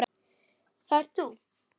Það ert þú.